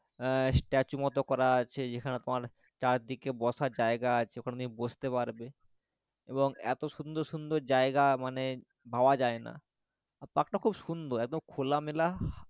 আহ statue মত করা আছে যেখানে তোমার চারদিকে বসার জায়গা আছে ওখানে বসতে পারবে এবং এত সুন্দর সুন্দর জায়গা মানে ভাবা যায়না আর park টা খুব সুন্দর একদম খোলামেলা